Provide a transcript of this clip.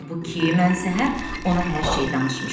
Halbuki mən səhər ona hər şey danışmışam.